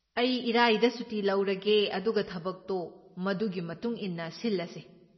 ꯑꯩ ꯏꯔꯥꯏꯗ ꯁꯨꯇꯤ ꯂꯧꯔꯒꯦ ꯑꯗꯨꯒ ꯊꯕꯛꯇꯣ ꯃꯗꯨꯒꯤ ꯃꯇꯨꯡ ꯏꯟꯅ ꯁꯤꯜꯂꯁꯦ꯫